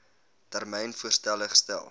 termyn voorstelle gestel